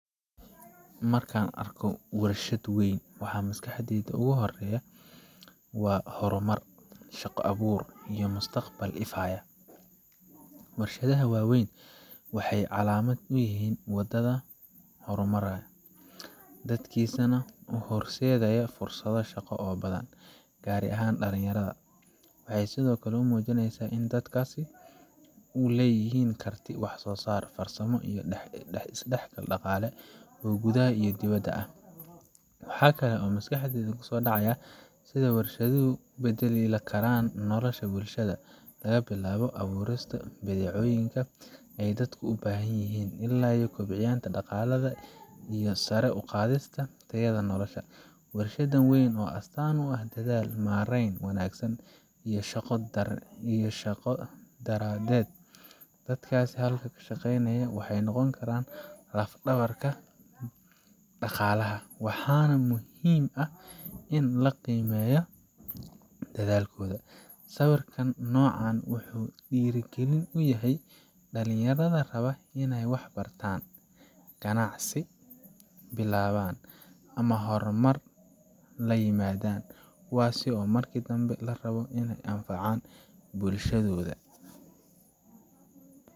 Marka aan arko warshad weyn, waxa maskaxdayda ugu horreeya waa horumar, shaqo-abuur, iyo mustaqbal ifaya. Warshadaha waaweyn waxay calaamad u yihiin waddan horumaraya, dadkiisana u horseedaya fursado shaqo oo badan, gaar ahaan dhalinyarada. Waxay sidoo kale muujinayaan in dalkaas uu leeyahay karti wax soo saar, farsamo, iyo is dhexgal dhaqaale oo gudaha iyo dibaddaba ah. Waxaa kale oo maskaxdayda ku soo dhaca sida warshaduhu u beddeli karaan nolosha bulshada laga bilaabo abuurista badeecooyin ay dadku u baahanyihiin, ilaa kobcinta dhaqaalaha iyo sare u qaadidda tayada nolosha. Warshad weyn waxay astaan u tahay dadaal, maarayn wanaagsan, iyo shaqo wadareed. Dadka halkaas ka shaqeynaya waxay noqonayaan laf-dhabar dhaqaalaha, waxaana muhiim ah in la qiimeeyo dadaalkooda. Sawirka noocan ah wuxuu dhiirrigelin u yahay dhalinyarada raba in ay wax bartaan, ganacsi bilaabaan, ama horumar la yimaadaan.